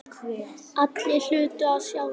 Allir hlutu að sjá það.